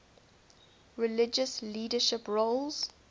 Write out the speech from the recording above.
religious leadership roles